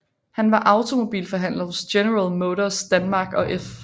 Han var automobilforhandler hos General Motors Danmark og F